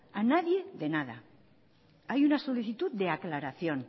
a nadie de nada hay una solicitud de aclaración